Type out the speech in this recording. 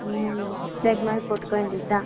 ஹம் discount மாதிரி போட்டுக்க வேண்டியதுதான்